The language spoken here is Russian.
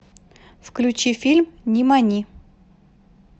включи фильм нимани